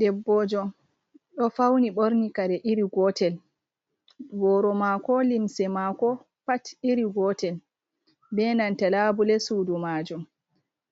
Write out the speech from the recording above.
Debboojo ɗo fawni ɓorni kare iri gotel, booro maako, limse maako pat iri gotel be nanta laabule suudu maajum.